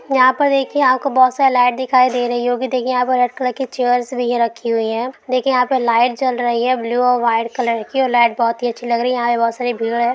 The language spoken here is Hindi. यहा पर देखिए आपको बहुत सारी लाइट दिखाई दे रही होगी देखिए यहा पर हर कलर की चेयर्स भी रखी हुवी है देखिए यहा लाइट जल रही है ब्लू और वाईट कलर की और लाइट बहुत ही अच्छी लग रही है यहा बहुत सारी भीड़ है ।